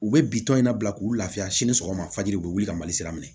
U bɛ bitɔn in na bila k'u lafiya sini sɔgɔma fajiri u bɛ wuli ka mali sira minɛ